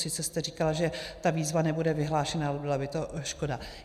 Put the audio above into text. Sice jste říkala, že ta výzva nebude vyhlášena, ale byla by to škoda.